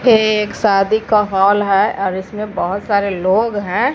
ये एक शादी का हॉल है और इसमें बहोत सारे लोग हैं।